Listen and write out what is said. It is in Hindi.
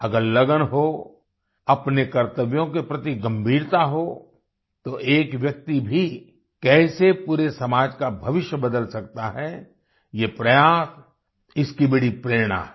अगर लगन हो अपने कर्तव्यों के प्रति गंभीरता हो तो एक व्यक्ति भी कैसे पूरे समाज का भविष्य बदल सकता है ये प्रयास इसकी बड़ी प्रेरणा है